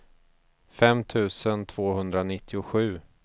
fem tusen tvåhundranittiosju